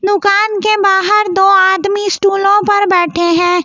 दुकान के बाहर दो आदमी स्टूलों पर बैठे हैं।